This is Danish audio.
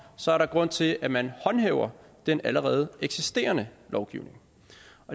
så er der grund til at man håndhæver den allerede eksisterende lovgivning